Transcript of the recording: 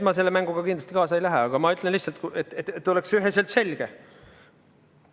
Ma selle mänguga kindlasti kaasa ei lähe, aga ma ütlen lihtsalt, et oleks üheselt selge.